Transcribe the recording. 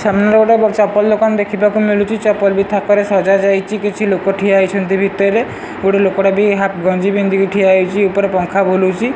ସାମ୍ନାରେ ଗୋଟେ ବଡ ଦୋକାନ ଦେଖିବାକୁ ମିଳୁଚି ବି ଥାକରେ ସଜା ଯାଇଚି କିଛି ଲୋକ ଠିଆ ହେଇଛନ୍ତି ଭିତରେ ଗୋଟେ ଲୋକ ଟା ବି ହାପ୍ ଗଞ୍ଜି ପିନ୍ଧିକି ଠିଆ ହେଇଚି ଉପରେ ପଙ୍ଖା ବୁଲୁଚି।